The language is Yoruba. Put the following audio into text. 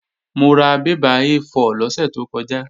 Mo ra bébà A4 lọ́sẹ̀ tó kọjá